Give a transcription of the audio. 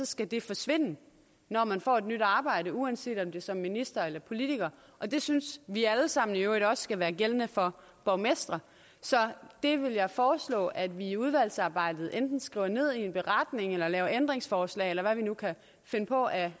skal det forsvinde når man får et nyt arbejde uanset om det er som minister eller politiker og det synes vi alle sammen i øvrigt også skal være gældende for borgmestre så det vil jeg foreslå at vi i udvalgsarbejdet enten skriver ned i en beretning eller laver ændringsforslag om eller hvad vi nu kan finde på af